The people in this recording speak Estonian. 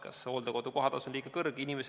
Kas hooldekodu kohatasu on liiga kõrge?